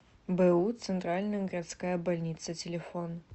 бу центральная городская больница телефон